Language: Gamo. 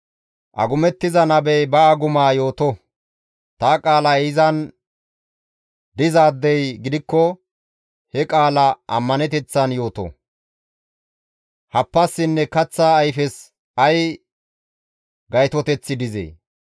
Agumettiza nabey ba agumaa yooto; ta qaalay izan dizaadey gidikko he qaala ammaneteththan yooto; happassinne kaththa ayfes ay gaytoteththi dizee?